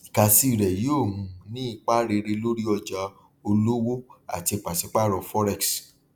ìkásí rẹ yóò um ní ipa rere lórí ọjà olówó àti paṣipaarọ forex